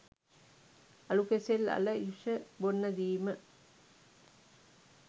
අලු කෙසෙල් අල යුෂ බොන්න දීම